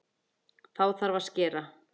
Þá þarf að skera.